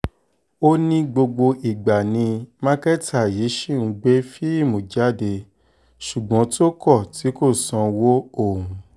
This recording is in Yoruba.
ó ní gbogbo ìgbà ni mákẹ́tà yìí ṣì ń gbé fíìmù jáde ṣùgbọ́n tó kọ̀ tí kò sanwó òun